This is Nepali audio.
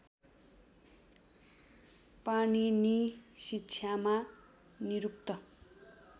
पाणिनि शिक्षामा निरुक्त